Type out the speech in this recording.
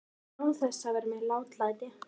Án þess að vera með látalæti.